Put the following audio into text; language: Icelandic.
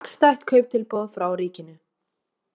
Hagstætt kauptilboð frá ríkinu